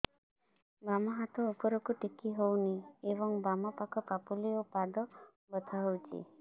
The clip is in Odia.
ବାମ ହାତ ଉପରକୁ ଟେକି ହଉନି ଏବଂ ବାମ ପାଖ ପାପୁଲି ଓ ପାଦ ବଥା ହଉଚି